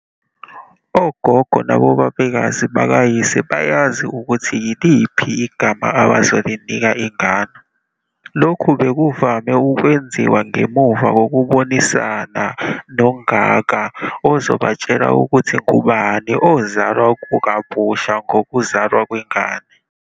Ogogo nobabekazi bakayise bayazi ukuthi yiliphi igama abazolinika ingane. Lokhu bekuvame ukwenziwa ngemuva kokubonisana noNgaka ozobatshela ukuthi ngubani ozalwa kabusha ngokuzalwa kwengane.